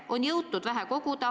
On jõutud vähe koguda.